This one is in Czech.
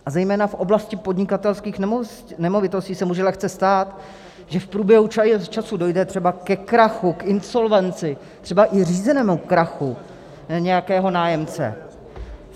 A zejména v oblasti podnikatelských nemovitostí se může lehce stát, že v průběhu času dojde třeba ke krachu, k insolvenci, třeba i řízenému krachu nějakého nájemce.